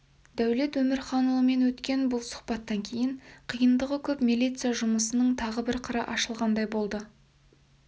дәулет өмірханұлымен өткен бұл сұхбаттан кейін қиындығы көп милиция жұмысының тағы бір қыры ашылғандай болды